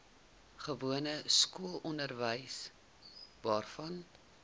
gewone skoolonderwys waarvan